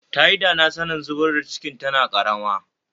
Tayi dana sanin zubar da cikin tana karama